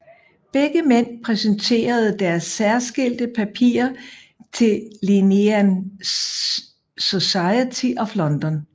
Begge mænd præsenterede deres særskilte papirer til Linnean Society of London